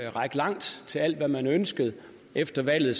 at række langt og til alt hvad man ønskede efter valget